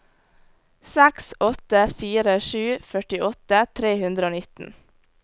seks åtte fire sju førtiåtte tre hundre og nitten